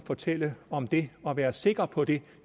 fortælle om det og være sikker på det